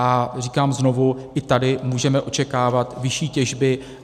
A říkám znovu, i tady můžeme očekávat vyšší těžby.